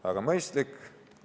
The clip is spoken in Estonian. Väga mõistlik.